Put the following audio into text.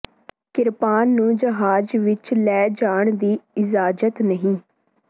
ਕਿਰਪਾਨ ਨੂੰ ਜਹਾਜ ਵਿਚ ਲੈ ਜਾਣ ਦੀ ਇਜਾਜ਼ਤ ਨਹੀਂ